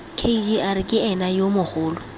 kgr ke ena yo mogolo